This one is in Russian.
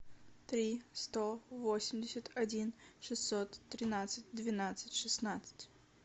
три сто восемьдесят один шестьсот тринадцать двенадцать шестнадцать